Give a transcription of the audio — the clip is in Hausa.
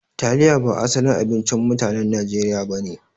Taliya ba asalin abincin mutanen Nijeriya ba ne.